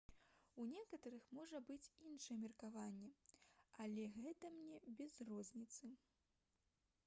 у некаторых можа быць іншае меркаванне але гэта мне без розніцы